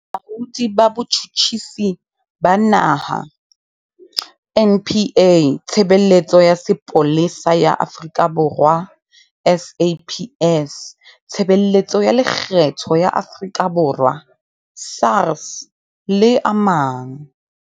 Bolaodi ba Bo-tjhutjhisi ba Naha, NPA, Tshebeletso ya Sepolesa ya Afrika Borwa, SAPS, Tshebeletso ya Lekgetho ya Afrika Borwa, SARS, le a mang.